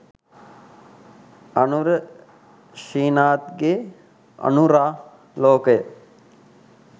අනුර ශ්‍රීනාත්ගේ "අනුරාලෝකය"